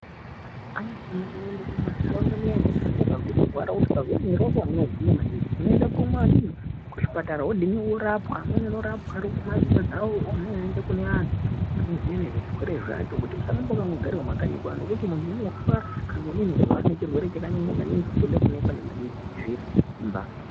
Anthu anofane kuwanda mumantharaunda muyani anthu anofanira kuende kuzvipatara wonorapwa amweni anorapirwe mumadzimba dzawo oende kune anthu anoziye nezvezvirwere zvacho kuti usarambe wakandogare mumakanyi ngekuti munthu unofa kana akanyanya kurwara nechirwere chakanyanya maningi chinode kuonekwa nana chiremba.